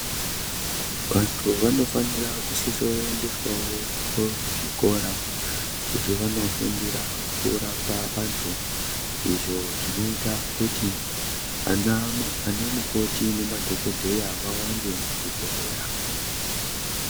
Vantu vanofanira kusisoendeswawo kuzvikora kuti vanofundira kurapa antu izvo zvinoita kuti anamukoti nemadhokodheya vawande muzvibhedhlera.